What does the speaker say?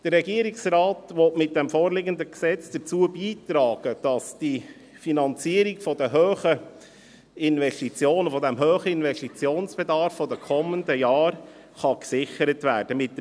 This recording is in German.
Der Regierungsrat will mit dem vorliegenden Gesetz dazu beitragen, dass die Finanzierung der hohen Investitionen, des hohen Investitionsbedarfs der kommenden Jahre gesichert werden kann.